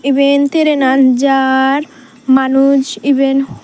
eben trainan jar manuj iben.